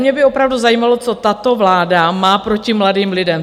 Mě by opravdu zajímalo, co tato vláda má proti mladým lidem.